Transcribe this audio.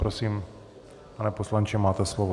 Prosím, pane poslanče, máte slovo.